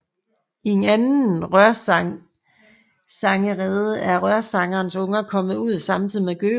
I en anden rørsangerrede er rørsangerens unger kommet ud samtidig med gøgeungen